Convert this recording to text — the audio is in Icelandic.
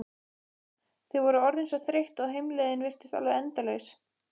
Þau voru orðin svo þreytt og heimleiðin virtist alveg endalaus.